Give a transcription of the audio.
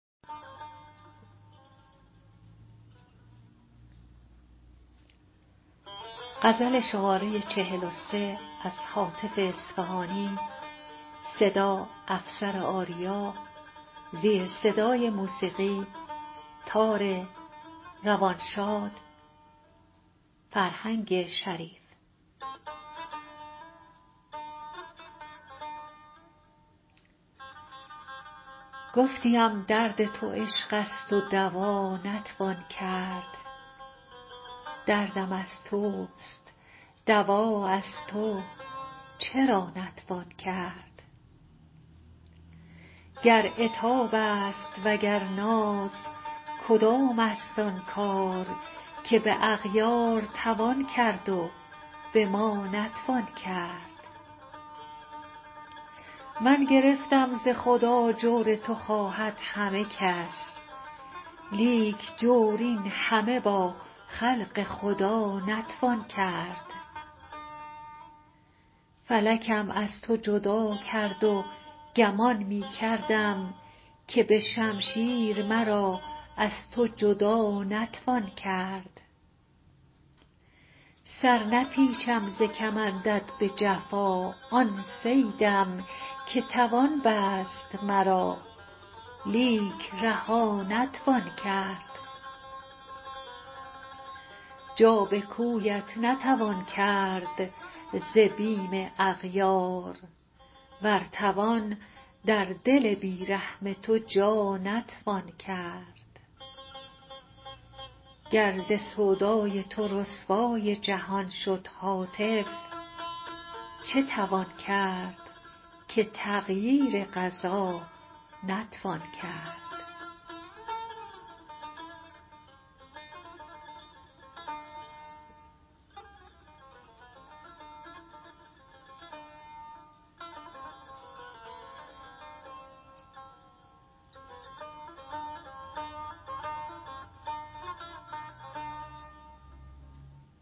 گفتیم درد تو عشق است و دوا نتوان کرد دردم از توست دوا از تو چرا نتوان کرد گر عتاب است وگر ناز کدام است آن کار که به اغیار توان کرد و به ما نتوان کرد من گرفتم ز خدا جور تو خواهد همه کس لیک جور این همه با خلق خدا نتوان کرد فلکم از تو جدا کرد و گمان می کردم که به شمشیر مرا از تو جدا نتوان کرد سر نپیچم ز کمندت به جفا آن صیدم که توان بست مرا لیک رها نتوان کرد جا به کویت نتوان کرد ز بیم اغیار ور توان در دل بی رحم تو جا نتوان کرد گر ز سودای تو رسوای جهان شد هاتف چه توان کرد که تغییر قضا نتوان کرد